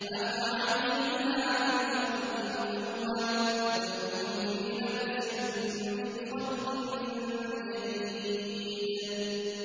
أَفَعَيِينَا بِالْخَلْقِ الْأَوَّلِ ۚ بَلْ هُمْ فِي لَبْسٍ مِّنْ خَلْقٍ جَدِيدٍ